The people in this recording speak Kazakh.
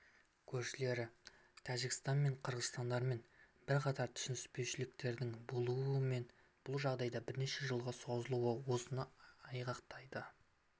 көршілері тәжікстанмен және қырғызстанмен бірқатар түсініспеушіліктердің болуы және бұл жағдайдың бірнеше жылға созылуы осыны айғақтайды